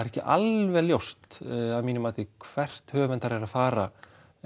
ekki alveg ljóst að mínu mati hvert höfundur er að fara